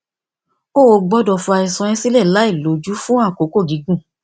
o ò gbódò fi àìsàn rẹ sílè láìlójú fún àkókò gígùn